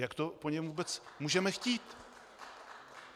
Jak to po něm vůbec můžeme chtít?